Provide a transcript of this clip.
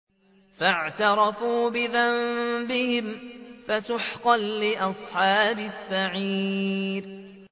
فَاعْتَرَفُوا بِذَنبِهِمْ فَسُحْقًا لِّأَصْحَابِ السَّعِيرِ